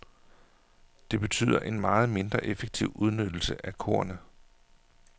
Det betyder en meget mindre effektiv udnyttelse af kornet.